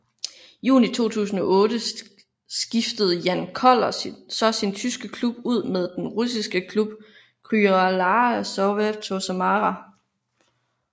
Juni 2008 skiftede Jan Koller så sin tyske klub ud med den russiske klub Krylya Sovetov Samara